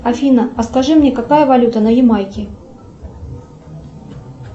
афина а скажи мне какая валюта на ямайке